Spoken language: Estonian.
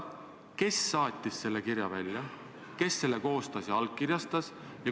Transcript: Kes saatis selle kirja välja, kes selle koostas ja allkirjastas?